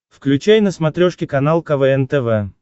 включай на смотрешке канал квн тв